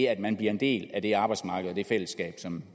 at man bliver en del af det arbejdsmarked og det fællesskab som